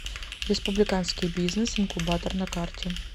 республиканский бизнес инкубатор на карте